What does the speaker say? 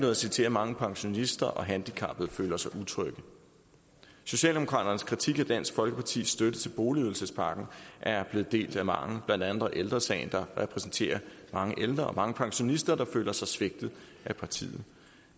at sige til at mange pensionister og handicappede føler sig utrygge socialdemokraternes kritik af dansk folkepartis støtte til boligydelsespakken er blevet delt af mange blandt andet ældre sagen der repræsenterer mange ældre og mange pensionister der føler sig svigtet af partiet